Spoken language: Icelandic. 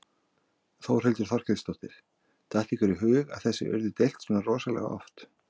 Þórhildur Þorkelsdóttir: Datt ykkur í hug að þessu yrði deilt svona rosalega oft?